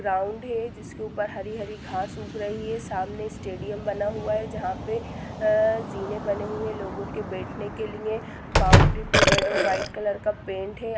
Ground है जिसके ऊपर हरी- हरी घास उग रही है सामने स्टेडियम बना हुआ हे जहा पे अहः जीने बने हुए हे लोगो के बैठने के लिए बाउंडरी पे रेड और वाइट कलर का पेंट है।